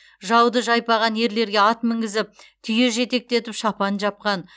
жауды жайпаған ерлерге ат мінгізіп түйе жетектетіп шапан жапқан